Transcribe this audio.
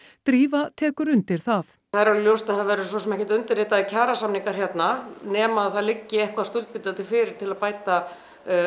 drífa tekur undir það það er alveg ljós að það verða svo sem ekki kjarasamningar hérna nema að það liggi eitthvað skuldbindandi fyrir til að bæta